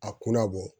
A kunna bɔ